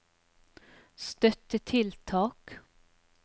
støttetiltak